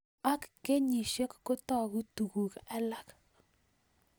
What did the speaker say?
Ak kenyishek kotag'u tuguk alak